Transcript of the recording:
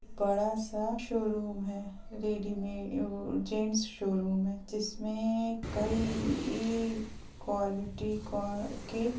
बड़ा-सा शोरूम है रेडीमे अअ जेंट्स शोरूम है जिसमें कई इइ क्वालिटी को के --